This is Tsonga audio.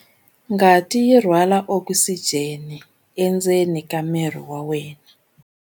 Ngati yi rhwala okisijeni endzeni ka miri wa wena.